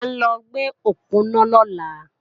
À ń lọ gbé òponá lọ́la